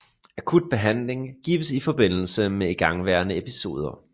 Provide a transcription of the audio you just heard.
Akut behandling gives i forbindelse med igangværende episoder